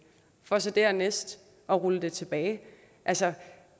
for så dernæst at rulle det tilbage altså